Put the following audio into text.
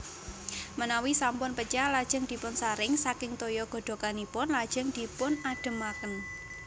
Menawi sampun pecah lajeng dipunsaring saking toya godhoganipun lajeng dipunadhemaken